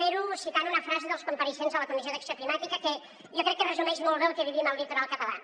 fer ho citant una frase dels compareixents a la comissió d’acció climàtica que jo crec que resumeix molt bé el que vivim al litoral català